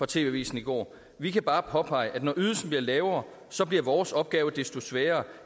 tv avisen i går vi kan bare påpege at når ydelsen bliver lavere så bliver vores opgave desto sværere